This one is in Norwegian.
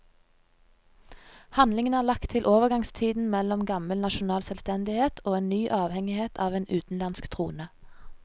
Handlingen er lagt til overgangstiden mellom gammel nasjonal selvstendighet og en ny avhengighet av en utenlandsk trone.